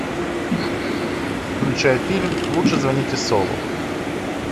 включай фильм лучше звоните солу